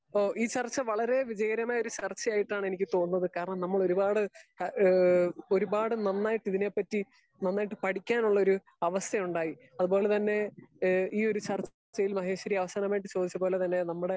speaker 2 ഈ ചർച്ച വളരെ വിജയകരമായ ചർച്ച ആയിട്ടാണ് എനിക്ക് തോന്നുന്നത് കാരണം നമ്മൾ ഒരുപാട് ഏഹ് ഒരുപാട് നന്നായിട്ട് ഇതിനെ പറ്റി നന്നായിട്ട് പഠിക്കാൻ ഉള്ളൊരു അവസരം ഉണ്ടായി അത് പോലെ തന്നെ ഈ ഒര് ചർച്ച യിൽ മഹേഷ്വരി അവസാനമായിട്ട് ചോയ്ച്ചപോലെ തന്നെ നമ്മുടെ